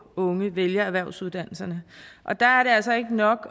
unge vælger erhvervsuddannelserne og der er det altså ikke nok